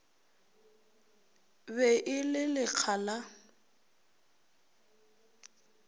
be e le lekga la